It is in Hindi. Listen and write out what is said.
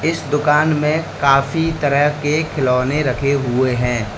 इस दुकान में काफी तरह के खिलौने रखें हुए हैं।